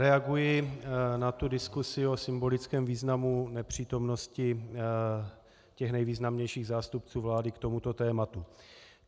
Reaguji na tu diskusi o symbolickém významu nepřítomnosti těch nejvýznamnějších zástupců vládu k tomuto tématu.